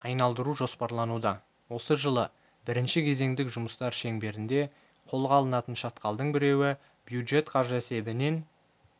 айналдыру жоспарлануда осы жылы бірінші кезеңдік жұмыстар шеңберінде қолға алынатын шатқалдың біреуі бюджет қаржысы есебінен